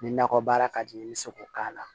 Ni nakɔ baara ka di n ye i bɛ se k'o k'a la